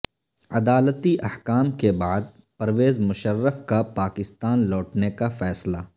عدالتی احکام کے بعد پرویز مشرف کا پاکستان لوٹنے کا فیصلہ